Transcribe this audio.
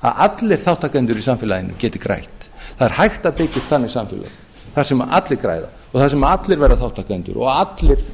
að allir þátttakendur í samfélaginu geti grætt það er hægt að byggja upp þannig samfélög þar sem allir græða og þar sem allir verða þátttakendur og allir